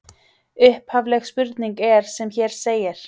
Upphafleg spurning er sem hér segir: